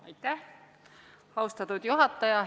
Aitäh, austatud juhataja!